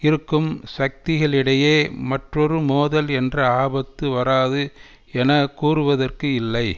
இருக்கும் சக்திகளிடையே மற்றொரு மோதல் என்ற ஆபத்து வராது என கூறுவதற்கு இல்லை